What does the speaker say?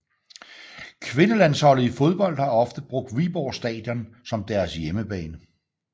Kvindelandsholdet i fodbold har ofte brugt Viborg Stadion som deres hjemmebane